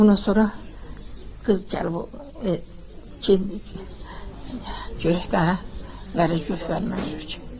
Ondan sonra qız gəlib, yox, yox, görək daha necə gök verməyib ki.